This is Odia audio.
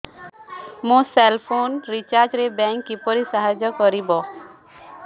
ମୋ ସେଲ୍ ଫୋନ୍ ରିଚାର୍ଜ ରେ ବ୍ୟାଙ୍କ୍ କିପରି ସାହାଯ୍ୟ କରିପାରିବ